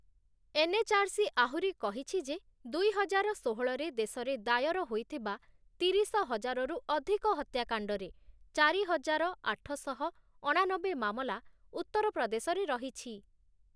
NHRC ଆହୁରି କହିଛି ଯେ, ଦୁଇହଜାର ଷୋହଳରେ ଦେଶରେ ଦାୟର ହୋଇଥିବା ତିରିଶହଜାରରୁ ଅଧିକ ହତ୍ୟାକାଣ୍ଡରେ ଚାରିହଜାର ଆଠଶହ ଅଣାନବେ ମାମଲା ଉତ୍ତରପ୍ରଦେଶରେ ରହିଛି ।